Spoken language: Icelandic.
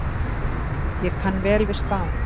Ég kann vel við Spán.